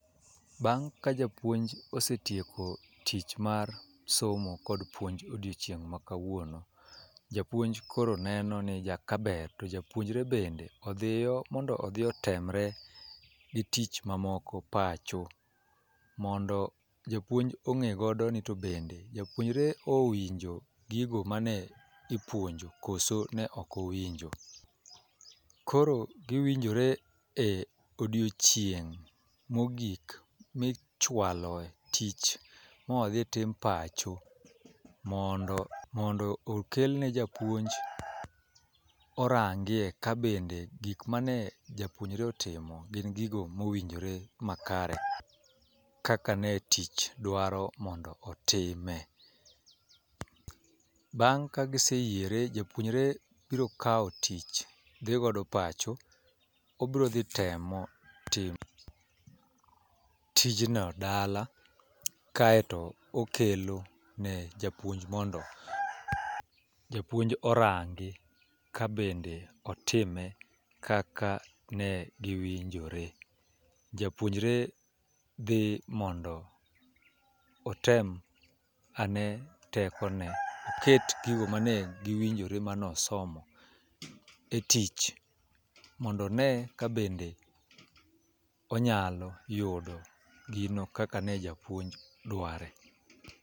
Bang' ka japuonj osetieko tich mar somo kod puonj odiochieng' ma kawuono , japuonj koro neno ni kaber to japuonjre bende odhiyo mondo otemre gi tich mamoko pacho mondo japuonj ong'e godo ni to bende japuonjre owinjo gigo mane ipuonjo koso ne ok owinjo. Koro giwinjore e odiochieng' mogik michwalo e tich modhi tim pacho mondo mondo okel ne japuonj orangie kabende gik mane japuonjre otimo gin gigo mowinjore makare. Kaka ne tich dwaro mondo otime. Bang' ka giseyiere japuonjre bro kawo tich dhi godo pacho obro dhi temo timo tijno dala kaeto okelo ne japuonj mondo japuonj orangi kebende otime kaka ne giwinjore. Japuonjre dhi mondo otem ane teko ne oket gigo mane giwinjore manosomo e tich mondo one ka bende onyalo yudo gino kaka ne japuonj dware.